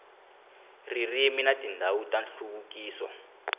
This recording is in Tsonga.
ririmi na tindhawu ta nhluvukiso